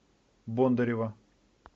бондарева